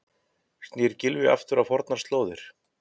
Snýr Gylfi aftur á fornar slóðir?